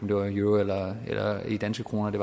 det var euro eller danske kroner det